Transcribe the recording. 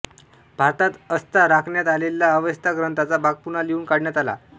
भारतात असता राखण्यात आलेला अवेस्ता ग्रंथाचा भाग पुन्हा लिहून काढण्यात आला